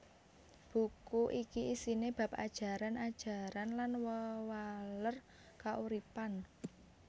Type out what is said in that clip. Buku iki isiné bab ajaran ajaran lan wewaler kauripan